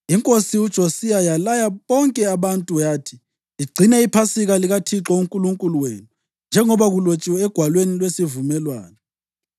Inkosi uJosiya yalaya bonke abantu yathi, “Ligcine iPhasika likaThixo uNkulunkulu wenu, njengoba kulotshiwe eGwalweni LweSivumelwano.”